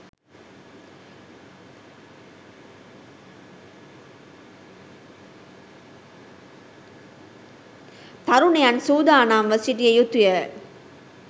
තරුණයන් සූදානම්ව සිටිය යුතුය.